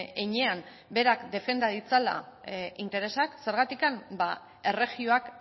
heinean berak defenda ditzala interesak zergatik ba erregioak